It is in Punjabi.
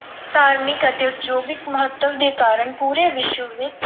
ਧਾਰਮਿਕ ਅਤੇ ਉਦਯੋਗਿਕ ਮਹੱਤਵ ਦੇ ਕਾਰਨ ਪੂਰੇ ਵਿਸ਼ਵ ਦੇ ਵਿੱਚ